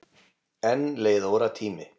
Enn leið óratími.